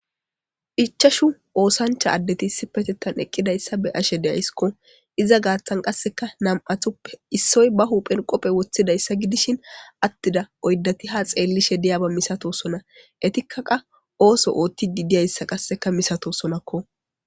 Ichchachu ossancha adeti isipetethan eqidaysa be'ashe de'aysko iza gathan qaseka nam'atuppe issoy ba hyphen qobe wothidaysa gidishin atidayssa oydati ha xeliyaba diyaba misitisatosona etika osso othidi diyaysa misatosonako